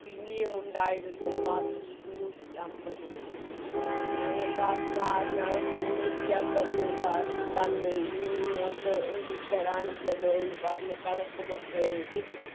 ഇനിയുമുണ്ടായിരുന്നു ബാക്കി ഇരുന്നൂറ്റി അമ്പത് രൂപ ഞങ്ങക്കാ sir ഞങ്ങക്കിരുനൂറ്റിയമ്പത് രൂപ തന്ന് ഇനി നിങ്ങൾക്ക് ഒന്നും തരാനില്ലല്ലോ എന്ന് പറഞ്ഞ് കണക്കുമൊക്കെ എഴുതി